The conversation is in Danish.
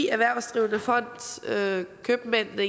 erhvervsdrivende fond købmændene